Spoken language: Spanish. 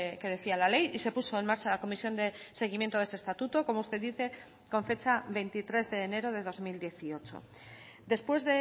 que decía la ley y se puso en marcha la comisión de seguimiento de ese estatuto como usted dice con fecha veintitrés de enero de dos mil dieciocho después